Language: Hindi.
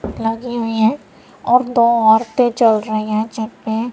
लगी हुई हैं और दो औरतें चल रही हैं छत पे।